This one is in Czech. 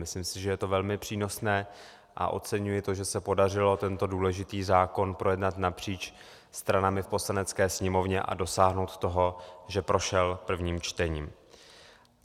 Myslím si, že je to velmi přínosné, a oceňuji to, že se podařilo tento důležitý zákon projednat napříč stranami v Poslanecké sněmovně a dosáhnout toho, že prošel prvním čtením.